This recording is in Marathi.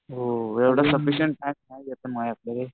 हो एवढं सफिशिएंट टाइम नाही माझ्याकडे